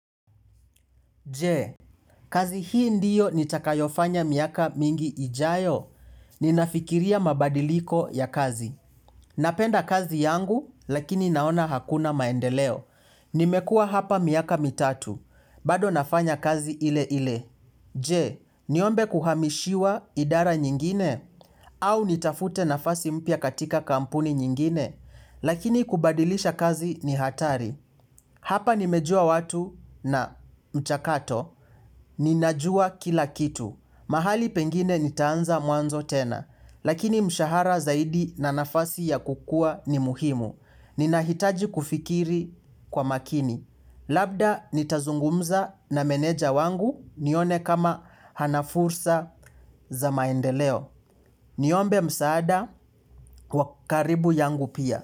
Je kazi hii ndiyo nitakayofanya miaka mingi ijayo. Ninafikiria mabadiliko ya kazi. Napenda kazi yangu lakini naona hakuna maendeleo. Nimekua hapa miaka mitatu. Bado nafanya kazi ile ile. Je, niombe kuhamishiwa idara nyingine, au nitafute nafasi mpya katika kampuni nyingine, lakini kubadilisha kazi ni hatari. Hapa nimejua watu na mchakato, ninajua kila kitu. Mahali pengine nitaanza mwanzo tena, lakini mshahara zaidi na nafasi ya kukua ni muhimu. Ninahitaji kufikiri kwa makini. Labda nitazungumza na meneja wangu nione kama hanafursa za maendeleo. Niombe msaada wakaribu yangu pia.